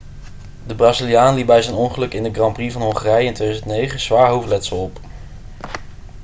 de braziliaan liep bij zijn ongeluk in de grand prix van hongarije in 2009 zwaar hoofdletsel op